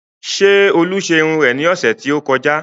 Ṣé olú ṣe irun rẹ ní ọ̀sẹ̀ tí ó kọjá?